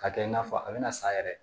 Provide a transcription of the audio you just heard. K'a kɛ i n'a fɔ a bɛna san yɛrɛ